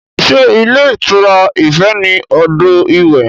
Sé ilé ìtura Ife ní odò iwẹ̀?